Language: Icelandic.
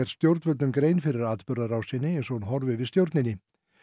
stjórnvöldum grein fyrir atburðarásinni eins og hún horfir við stjórninni